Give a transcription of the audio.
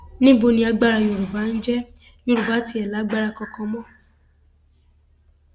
níbo ni agbára yorùbá ǹjẹ yorùbá tiẹ lágbára kankan mọ